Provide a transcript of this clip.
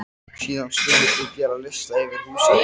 Síðan skulið þið gera lista yfir húsverkin.